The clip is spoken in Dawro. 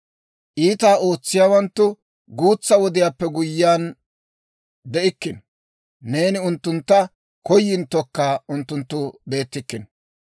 Iitaa ootsiyaawanttu guutsa wodiyaappe guyyiyaan de'ikkino; neeni unttuntta koyinttokka unttunttu beettikkino.